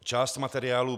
Část materiálu